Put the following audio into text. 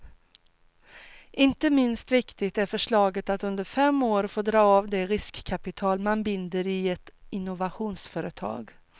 Inte minst viktigt är förslaget att under fem år få dra av det riskkapital man binder i ett innovationsföretag.